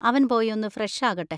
അവൻ പോയി ഒന്ന് ഫ്രഷ് ആകട്ടെ.